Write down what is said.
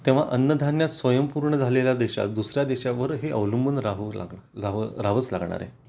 तेव्हा अन्नधान्यात स्वयंपूर्ण झालेल्या देशात दुसऱ्या देशावरही अवलंबून राहू लागले राहावंच लागणार आहे